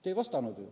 Te ei vastanud.